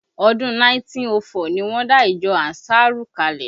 Ọdún 1904 ni wọ́n dá ìjọ ànsárù kalẹ